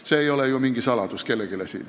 See ei ole ju siin kellelegi mingi saladus.